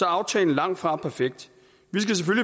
at aftalen langtfra er perfekt